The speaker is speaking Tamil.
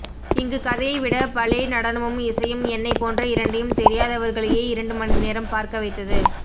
இங்கு கதையை விட பலே நடனமும் இசையும் என்னைப்போன்ற இரண்டையும் தெரியாதவர்களையே இரண்டு மணி நேரம் பார்க்கவைத்தது